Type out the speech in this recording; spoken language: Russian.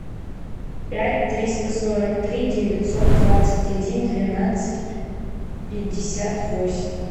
пять триста сорок три девятьсот двадцать один двенадцать пятьдесят восемь